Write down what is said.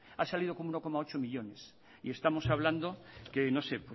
ha salido con uno coma ocho millónes y estamos hablando que no sé